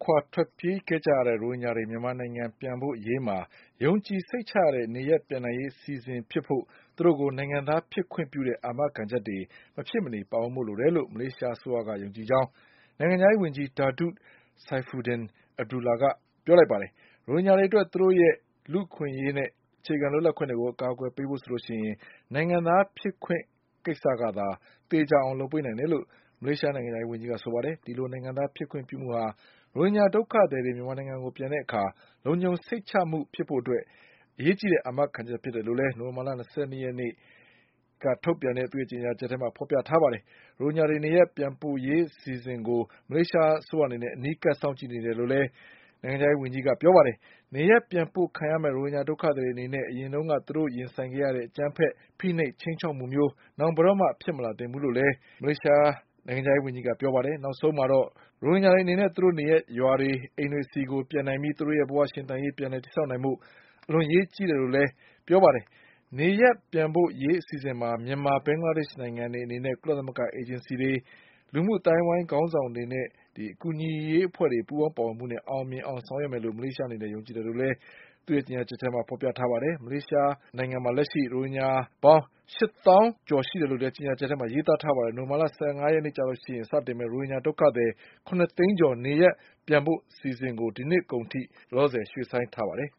ခွာ ထွက်ပြေးကြရတဲ့ ရိုဟင်ဂျာတွေ မြန်မာနိုင်ငံပြန်ပို့ရေးမှာ ယုံကြည်စိတ်ချရတဲ့ေ နရပ်ပြန်နိုင်ရေး အစီအစဉ်ဖြစ်ဖို့ သူတို့ကို နိုင်ငံသားဖြစ်ခွင့်ပြုတဲ့ အာမခံချက်တွေ မဖြစ်မနေပါဝင်ဖို့ လိုတယ်လို့ မလေးရှားအစိုးရက ယုံကြည်ကြောင်း နိုင်ငံခြားရေးဝန်ကြီး Datuk Saifuddin Abdullah က ပြောဆိုလိုက်ပါတယ်။ ရိုဟင်ဂျာတွေအတွက် သူတို့ရဲ့ လူ့အခွင့်အရေးနဲ့ အခြေခံလွတ်လပ်မှုတွေကို အကာအကွယ်ပေးဖို့ဆိုရင် နိုင်ငံသားဖြစ်ခွင့် ကိစ္စကသာ သေချာအောင်လုပ်ပေးနိုင်တယ်လို့ မလေးရှားနိုင်ငံခြားရေးဝန်ကြီးက ဆိုပါတယ်။ ဒီလိုနိုင်ငံသားဖြစ်ခွင့်ပြုမှုဟာ ရိုဟင်ဂျာဒုက္ခသည်တွေ မြန်မာနိုင်ငံကိုပြန်တဲ့အခါ လုံခြုံစိတ်ချမှုဖြစ်ဖို့အတွက် အရေးကြီးတဲ့ အာမခံချက်ဖြစ်တယ်လို့လည်း နိုဝင်ဘာလ ၂၂ ရက် ကြာသာပတေးနေ့က ထုတ်ပြန်တဲ့ သူ့ရဲ့ ကြေညာချက်မှာ ဖေါ်ပြထားပါတယ်။ ဒါအပြင် ရိုဟင်ဂျာတွေ နေရပ်ပြန်ပို့ရေးအစီအစဉ်ကို မလေးရှားအစိုးရအနေနဲ့ အနီးကပ်စောင့်ကြည့်နေတယ်လို့လည်း နိုင်ငံခြားရေးဝန်ကြီး Datuk Saifuddin Abdullah ကပြောပါတယ်။ နေရပ်ပြန်ပို့ခံရမယ့် ရိုဟင်ဂျာဒုက္ခသည်တွေအနေနဲ့ အရင်ကသူတို့ရင်ဆိုင်ခဲ့ရတဲ့ အကြမ်းဖက် ဖိနှိပ် ခြိမ်းခြောက်မှုမျိုး နောင်ဘယ်တော့မှ ဖြစ်မလာသင့်ဘူးလို့လည်း Saifuddin ကပြောပါတယ်။ နောက်ဆုံးမှာတော့ ရိုဟင်ဂျာတွေအနေနဲ့ သူတို့နေရပ်ရွာတွေ၊ အိမ်တွေဆီကို ပြန်နိုင်ပြီး သူတို့ရဲ့ဘဝရှင်သန်ရေး ပြန်လည်တည်ဆောက်နိုင်ဖို့ အလွန်အရေးကြီးတယ်လို့လည်း သူကဆိုပါတယ်။ နေရပ်ပြန်ပို့ရေးအစီအစဉ်မှာ မြန်မာ၊ ဘင်္ဂလားဒေ့ရှ်နိုင်ငံတွေအနေနဲ့ ကုလသမဂ္ဂအေဂျင်စီတွေ၊ လူမှုအသိုင်းအဝိုင်းခေါင်းဆောင်တွေရဲ့ အကူအညီတွေ ပူးပေါင်းပါဝင်မှုနဲ့ အောင်မြင်အောင်ဆောင်ရွက်မယ်လို့ မလေးရှားအနေနဲ့ ယုံကြည်တယ်လို့ ကြေညာချက်မှာ ဖေါ်ပြထားပါတယ်။ လက်ရှိမလေးရှားနိုင်ငံမှာ ရိုဟင်ဂျာ ပေါင်း ၈၀,၀၁၈ ရှိတယ်လို့လည်း ကြေညာချက်မှာ ရေးသားထားပါတယ်။ နိုဝင်ဘာလ (၁၅)ရက်နေ့မှာ စတင်မယ့် ရိုဟင်ဂျာ ဒုက္ခသည် ၇ သိန်းကျော် နေရပ်ပြန်ပို့အစီအစဉ်ကို ဒီနှစ်အကုန်ထိ ရွှေ့ဆိုင်းထားပါတယ်